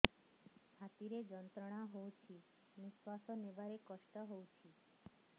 ଛାତି ରେ ଯନ୍ତ୍ରଣା ହଉଛି ନିଶ୍ୱାସ ନେବାରେ କଷ୍ଟ ହଉଛି